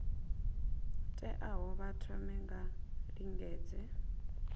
teaho vha thome vha lingedze